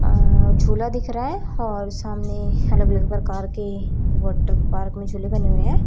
अ झूला दिख रहा है और सामने हलग अलग प्रकार के वाटर पार्क में झूले बने हुए हैं।